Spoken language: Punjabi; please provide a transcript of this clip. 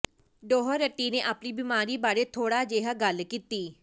ਡੋਹਰਟੀ ਨੇ ਆਪਣੀ ਬਿਮਾਰੀ ਬਾਰੇ ਥੋੜ੍ਹਾ ਜਿਹਾ ਗੱਲ ਕੀਤੀ